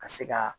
Ka se ka